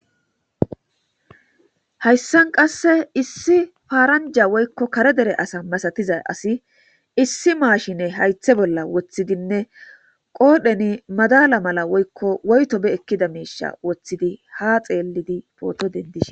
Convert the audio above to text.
hayssan qasse issi faaranja woykko kare dere asa masatizay asi issi maashine haythe bolla woththidinne qoodheni madala mala woykko woytobe ekkida meisha woththidi ha xeellidi pooto dendiis